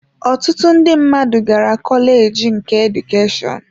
Ọtụtụ ndị mmadụ gara kọleji nke Edukeshọn